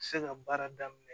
Se ka baara daminɛ